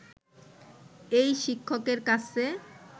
এই শিক্ষকের কাছে